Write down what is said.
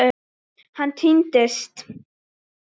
Hann týnst?